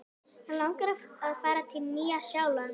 Mig langar að fara til Nýja-Sjálands.